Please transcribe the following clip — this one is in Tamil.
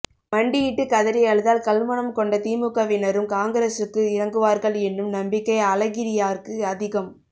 மண்டியிட்டு கதறி அழுதால் கல்மனம்கொண்டதிமுகவினரும் காங்கிரஸுக்கு இறங்குவார்கள் என்னும் நம்பிக்கை அழகிரியாருக்கு அதிகம்